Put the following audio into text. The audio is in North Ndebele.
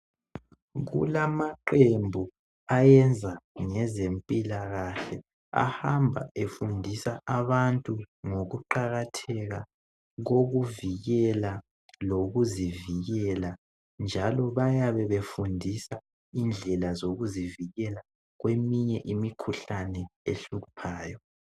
Kulamaqembu ayenza ngezempilakahle ahamba efundisa abantu ngokuqakatheka kokuvikela lokuzivikela njalo bayabe befundisa indlela zokuzivikela kweminye imikhuhlane ehluphayo.